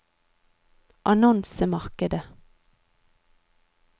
annonsemarkedet